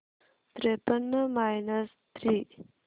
त्रेपन्न minus three